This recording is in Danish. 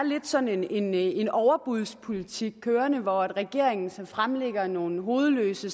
sådan en en overbudspolitik kørende hvor regeringen fremlægger nogle hovedløse